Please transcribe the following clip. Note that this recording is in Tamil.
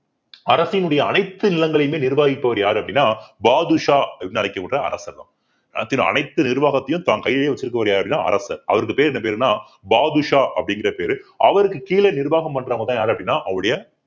அரசினுடைய அனைத்து நிலங்களையுமே நிர்வகிப்பவர் யாரு அப்படின்னா பாதுஷா அப்படின்னு அழைக்கப்படுற அரசர் தான் அரசின் அனைத்து நிர்வாகத்தையும் தான் கையிலேயே வச்சிருக்கவர் யாருன்னா அரசர் அவருக்கு பேரு என்ன பேருன்னா பாதுஷா அப்படிங்கிற பேரு அவருக்கு கீழே நிர்வாகம் பண்றவங்கதான் யாரு அப்படின்னா அவருடைய